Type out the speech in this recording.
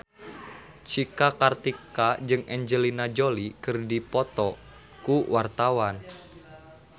Cika Kartika jeung Angelina Jolie keur dipoto ku wartawan